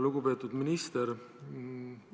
Lugupeetud minister!